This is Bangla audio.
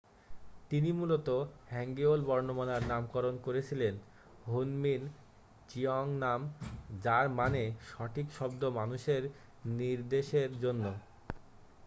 "তিনি মূলত হ্যাঙ্গিউল বর্ণমালার নামকরণ করেছিলেন হুনমিন জিওংনাম যার মানে "সঠিক শব্দ মানুষের নির্দেশের জন্য।""